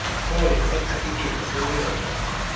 fom nesatifikethi sonyango